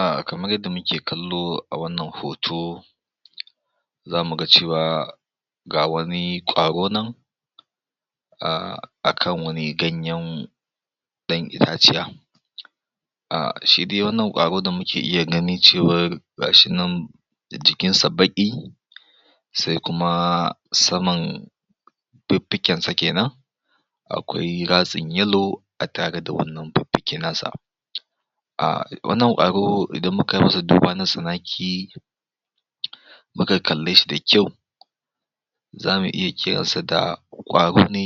Ah kamar yadda muke kallo a wannan hoto, zamu ga cewa ga wani ƙwaro nan ahh akan wani ganyen ɗan itaciya, ah shi dai wannan ƙwaro da muke gani dai cewar ga shi nan da jkinsa baƙi, sai kuma saman fiffikensa kenan akwai ratsin yellow a tare da wannan fiffike nasa. Wannan ƙwaro idan muka masa duba na natsanaki muka kallw shi da kyau, za mu iya kiransa da ƙwaro ne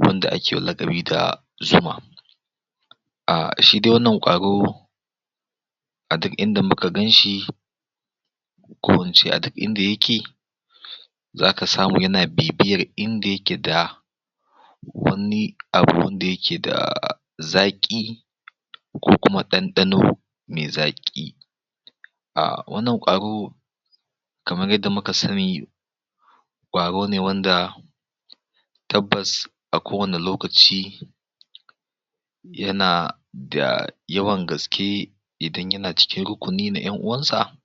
wanda akewa laƙabi da juma. Ahh shi dai wannan ƙwaro, a duk inda muka ganshi, ko in ce a duk inda yake, zaka samu yana bibiyar inda yake da wani abu wanda yake da zaƙi, ko kuma ɗanɗano me zaƙi. Ah wannan ƙwaro, kamar yadda muka sani, ƙwarone wanda tabbas a kowanne lokaci, yana da yawan gaske idan yana cikin rukni na 'yan'uwansa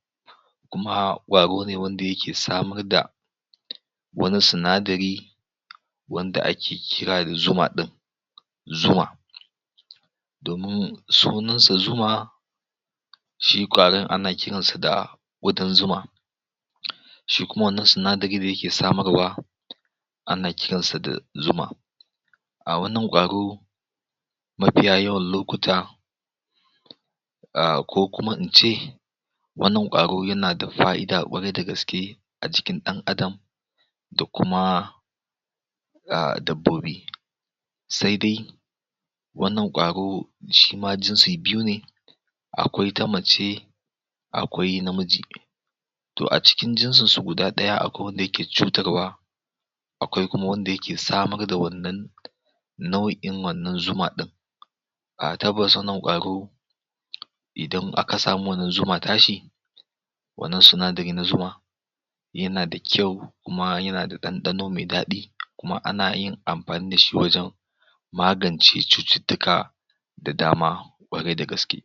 kuma ƙwaro ne wanda yake samar da wani sinadari, wanda ake kira da juma ɗin, Zuma, domin sunansa zuma, shi ƙwaron ana kiransa da ƙudan zuma. Shi kuma wannan sinadari da yake samarwa ana kiransa da zuma, A wannan ƙwaro mafiya yawan lokuta, ko kuma ince, wannan ƙwaro yana da fa'ida ƙwarai da gaske, a jikin ɗan adam, da kuma, ahh dabbobi, sai dai wannan ƙwaro shima jinsi biyu ne, akwai ta mace akwai namiji. To a cikin jinsinsu guda ɗaya, akwai wanda yake cutarwa akwai kuma wanda ayake samar da wannan nau'in wannan zuma ɗin. Ah tabbasa wannan ƙwaro idan aka samu wannan zuma tashi, wannan sinadari na zuma, yana da kyau kuma yana da ɗanɗano da daɗi kuma anayin amafni da shi wajen magance cututtuka da dama ƙwarai da gaske.